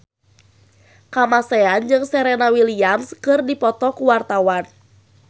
Kamasean jeung Serena Williams keur dipoto ku wartawan